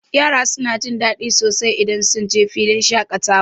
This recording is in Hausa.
Yara suna jin daɗi sosai idan sunje filin shaƙatawa.